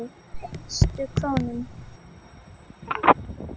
Hverja einustu krónu.